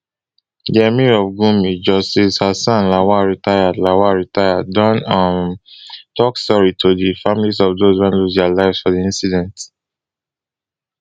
di emir of gummi justice hassan lawal retired lawal retired don um tok sorry to di families of dose wey lose dia lives for di incident